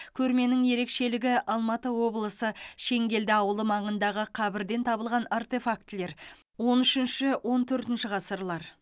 көрменің ерекшелігі алматы облысы шеңгелді ауылы маңындағы қабірден табылған артефактілер он үшінші он төртінші ғасырлар